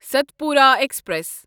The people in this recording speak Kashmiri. ستپورا ایکسپریس